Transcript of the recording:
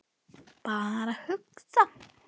Bara að hugsa.